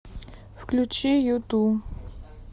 включи юту